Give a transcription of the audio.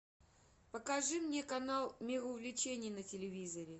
покажи мне канал мир увлечений на телевизоре